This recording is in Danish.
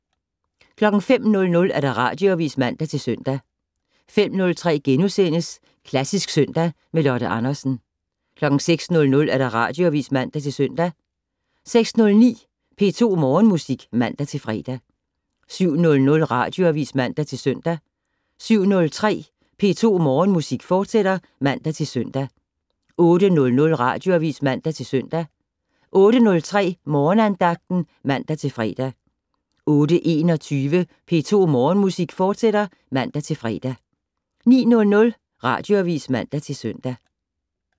05:00: Radioavis (man-søn) 05:03: Klassisk søndag med Lotte Andersen * 06:00: Radioavis (man-søn) 06:09: P2 Morgenmusik (man-fre) 07:00: Radioavis (man-søn) 07:03: P2 Morgenmusik, fortsat (man-søn) 08:00: Radioavis (man-søn) 08:03: Morgenandagten (man-fre) 08:21: P2 Morgenmusik, fortsat (man-fre) 09:00: Radioavis (man-søn)